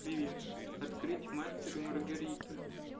привет открыть мастер и маргарита